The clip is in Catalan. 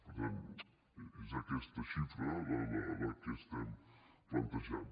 per tant és aquesta xifra la que estem plantejant